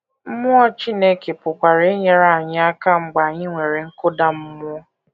Mmụọ Chineke pụkwara inyere anyị aka mgbe anyị nwere nkụda mmụọ.